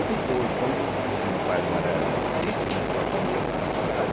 depois, quando e meu pai mora sítio, né, só quando ia para a cidade.